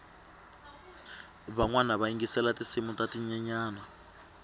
vanwana va yingisela tinsimu ta tinyenyani